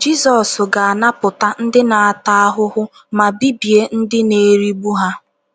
Jizọs ga - anapụta ndị na - ata ahụhụ ma bibie ndị na - erigbu ha.